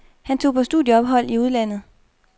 Han tog på studieophold i udlandet.